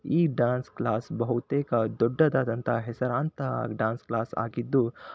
ಈ dance class ಬಹುತೇಕ ದೊಡ್ಡದಾದಂತ ಹೆಸರಾಂತ ಡ್ಯಾನ್ಸ್ ಕ್ಲಾಸ್ ಆಗಿದ್ದು--